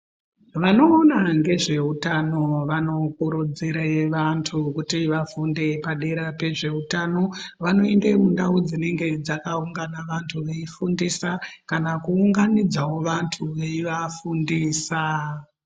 Vanoona ngezveutano vanokurudzire vantu kuti vafunde padera pezveutano. Vanoenda kundau dzinenge dzakaungana vantu veifundisa kana kuunganidzawo vantu veivafundisa.